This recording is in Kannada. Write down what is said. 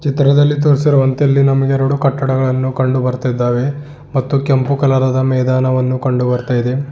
ಚಿತ್ರದಲ್ಲಿ ತೋರಿಸಿರುವಂತೆ ಇಲ್ಲಿ ನಮಗೆ ಎರಡು ಕಟ್ಟಡಗಳುಳನ್ನು ಕಂಡು ಬರ್ತಿದ್ದಾವೇ ಮತ್ತು ಕೆಂಪು ಕಲರ್ ಆದ ಮೈದಾನವನ್ನು ಕಂಡು ಬರ್ತಾ ಇದೆ.